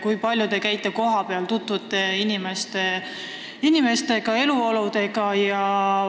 Kui palju te käite kohapeal ja tutvute inimeste ja eluoluga?